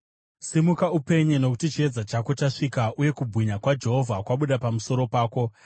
“Simuka, upenye nokuti chiedza chako chasvika, uye kubwinya kwaJehovha kwabuda pamusoro pako.